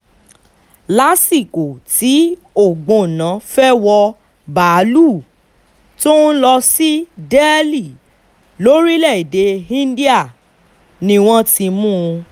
lásìkò tí ògbónná fẹ́ẹ́ wọ báálùú tó ń lọ sí delhi lórílẹ̀-èdè íńdíà ni wọ́n ti mú un